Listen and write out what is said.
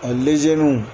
A lezen